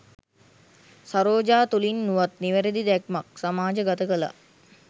සරෝජා තුළින් වුවත් නිවැරැදි දැක්මක් සමාජ ගත කලා.